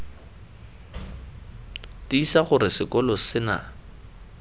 tiisa gore sekolo se na